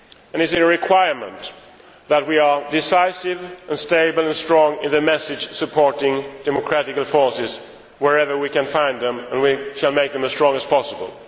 It is a requirement that we are decisive, stable and strong in the message of supporting democratic forces, wherever we can find them, and we shall make them as strong as possible.